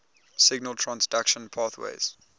signal transduction pathways